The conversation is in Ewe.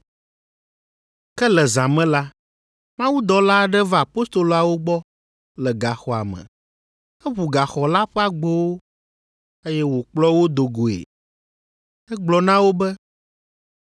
Ke le zã me la, mawudɔla aɖe va apostoloawo gbɔ le gaxɔa me. Eʋu gaxɔ la ƒe agbowo, eye wòkplɔ wo do goe. Egblɔ na wo be,